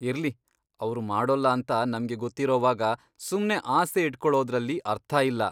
ಇರ್ಲಿ, ಅವ್ರು ಮಾಡೋಲ್ಲ ಅಂತ ನಮ್ಗೆ ಗೊತ್ತಿರೋವಾಗ ಸುಮ್ನೆ ಆಸೆ ಇಟ್ಕೊಳೋದ್ರಲ್ಲಿ ಅರ್ಥ ಇಲ್ಲ.